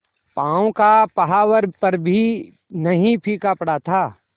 पांव का महावर पर भी नहीं फीका पड़ा था